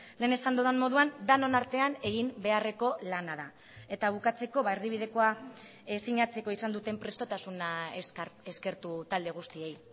lehen esan dudan moduan denon artean egin beharreko lana da eta bukatzeko erdibidekoa sinatzeko izan duten prestotasuna eskertu talde guztiei